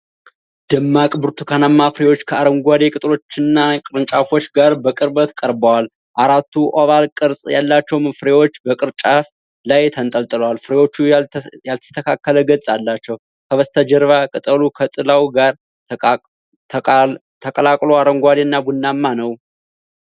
ደማቅ ብርቱካንማ ፍሬዎች ከአረንጓዴ ቅጠሎችና ቅርንጫፎች ጋር በቅርበት ቀርበዋል። አራቱ ኦቫል ቅርጽ ያላቸው ፍሬዎች በቅርንጫፉ ላይ ተንጠልጥለዋል። ፍሬዎቹ ያልተስተካከለ ገጽ አላቸው። ከበስተጀርባ ቅጠሉ ከጥላው ጋር ተቀላቅሎ አረንጓዴና ቡናማ ነው።